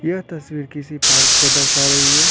यह तस्वीर किसी पार्क को दर्शा रही है।